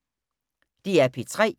DR P3